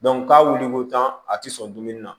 k'a wuli ko tan a tɛ sɔn dumuni na